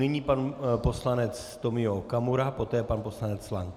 Nyní pan poslanec Tomio Okamura, poté pan poslanec Lank.